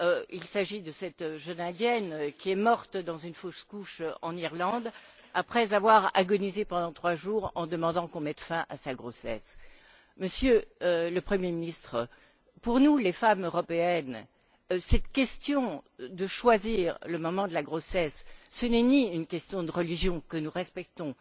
Il s'agit de cette jeune Indienne qui est morte à la suite d'une fausse couche en Irlande, après avoir agonisé pendant trois jours en demandant qu'on mette fin à sa grossesse. Monsieur le Premier ministre, pour nous, les femmes européennes, cette question du choix du moment de sa grossesse, ne relève ni de la religion, que nous respectons,